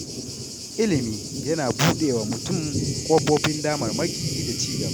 Ilimi yana buɗe wa mutum ƙofofin damarmaki da ci gaba.